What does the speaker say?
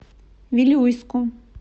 вилюйску